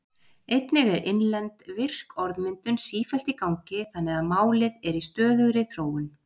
Einnig er innlend, virk orðmyndun sífellt í gangi þannig að málið er í stöðugri þróun.